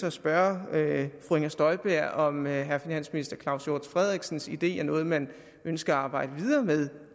at spørge fru inger støjberg om herre finansminister claus hjort frederiksens idé er noget man ønsker at arbejde videre med